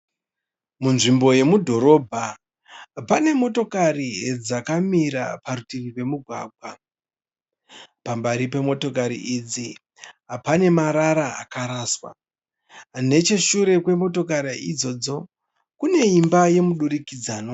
Munzvimbo yemudhorobha pane motokari dzakamira parutivi pomugwagwa. Pamberi pemotokari idzi pane marara akaraswa. Necheshure kwemotokari idzodzo pane imba yemudurikidzanwa.